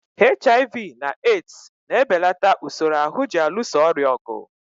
HIV na AIDS na-ebelata usoro ahụ ji alụso ọrịa ọgụ.